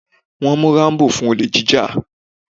Wọ́n mú Rambo fún olè jíjà.